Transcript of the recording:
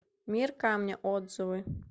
мир камня отзывы